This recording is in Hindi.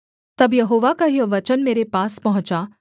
तब यहोवा का यह वचन मेरे पास पहुँचा